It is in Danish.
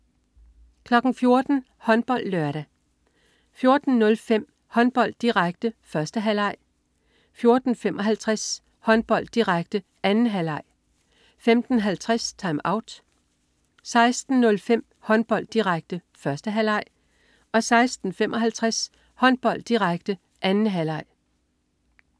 14.00 HåndboldLørdag 14.05 Håndbold, direkte. 1. halvleg 14.55 Håndbold, direkte. 2. halvleg 15.50 TimeOut 16.05 Håndbold, direkte. 1. halvleg 16.55 Håndbold, direkte. 2. halvleg